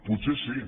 potser sí